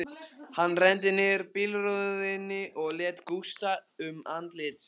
Hann renndi niður bílrúðunni og lét gusta um andlit sér.